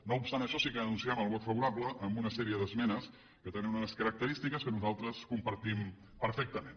no obstant això sí que anunciem el vot favorable a una sèrie d’esmenes que tenen unes característiques que nosaltres compartim perfectament